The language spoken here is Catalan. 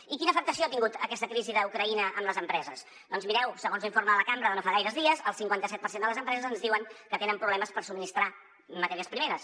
i quina afectació ha tingut aquesta crisi d’ucraïna en les empreses doncs mireu segons l’informe de la cambra de no fa gaires dies el cinquanta set per cent de les empreses ens diuen que tenen problemes per subministrar matèries primeres